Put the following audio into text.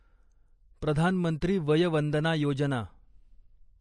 प्रधान मंत्री वय वंदना योजना